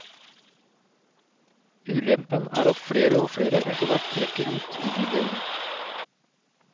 Ulempen er at flere og flere etterhvert trekker ut i bydelen.